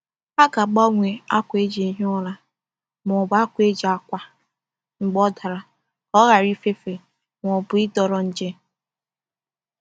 A ga-agbanwe akwa e ji ehi ụra ma ọ bụ akwa e ji akwa mgbe ọ dara ka ọ ghara ifefe ma ọ bụ ịdọrọ nje.